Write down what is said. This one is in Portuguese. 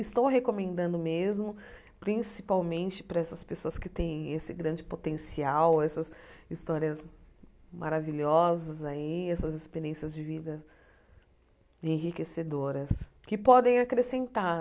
Estou recomendando mesmo, principalmente para essas pessoas que têm esse grande potencial, essas histórias maravilhosas aí, essas experiências de vida enriquecedoras, que podem acrescentar.